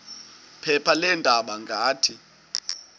phepha leendaba ngathi